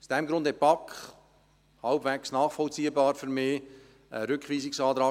Aus diesem Grund stellte die BaK – dies ist für mich halbwegs nachvollziehbar – einen Rückweisungsantrag.